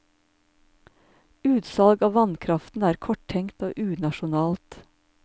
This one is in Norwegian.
Utsalg av vannkraften er korttenkt og unasjonalt.